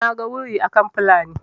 naga wuri akan Fulani